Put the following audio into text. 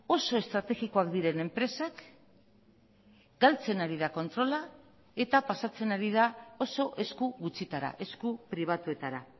oso estrategikoak diren enpresak galtzen ari da kontrola eta pasatzen ari da oso esku gutxitara esku pribatuetara